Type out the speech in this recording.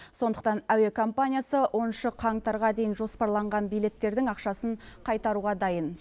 сондықтан әуе компаниясы оныншы қаңтарға дейін жоспарланған билеттердің ақшасын қайтаруға дайын